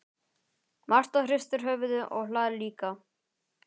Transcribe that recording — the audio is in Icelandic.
Marta hristir höfuðið og hlær líka.